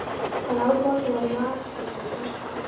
Hann át morgunverð í matstofu presta.